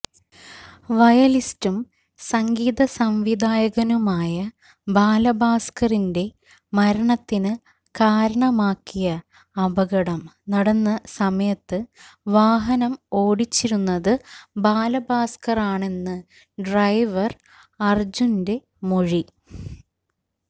വയലിനിസ്റ്റും സംഗീതസംവിധായകനുമായ ബാലഭാസ്കറിന്റെ മരണത്തിന് കാരണമാക്കിയ അപകടം നടന്ന സമയത്ത് വാഹനം ഓടിച്ചിരുന്നത് ബാലഭാസ്ക്കറാണെന്ന് ഡ്രൈവര് അര്ജുന്റെ മൊഴി